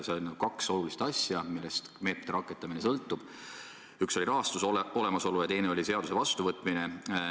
Seal oli kaks olulist asja, millest meetmete rakendamine sõltub: üks oli rahastuse olemasolu ja teine oli seaduse vastuvõtmine.